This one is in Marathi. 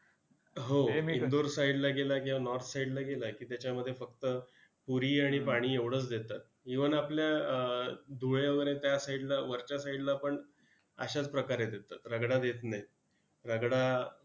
हो! इंदोर side ला गेला किंवा north side ला गेला त्याच्यामध्ये फक्त पुरी आणि पाणी एवढंच देतात. even आपल्या अं धुळे वगैरे त्या side ला वरच्या side ला पण अशाच प्रकारे देतात रगडा देत नाहीत. रगडा